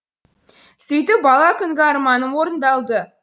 сөйтіп бала күнгі арманым орындалды